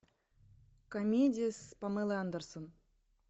комедия с памелой андерсон